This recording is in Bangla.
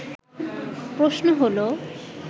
প্রশ্ন হলো